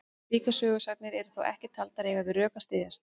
Slíkar sögusagnir eru þó ekki taldar eiga við rök að styðjast.